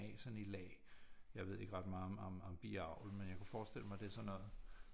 Af sådan i lag jeg ved ikke ret meget om biavl men jeg kan forestille mig at det er sådan noget